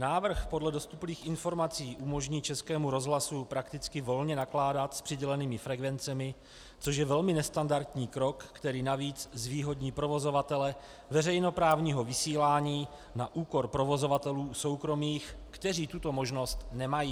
Návrh podle dostupných informací umožní Českému rozhlasu prakticky volně nakládat s přidělenými frekvencemi, což je velmi nestandardní krok, který navíc zvýhodní provozovatele veřejnoprávního vysílání na úkor provozovatelů soukromých, kteří tuto možnost nemají.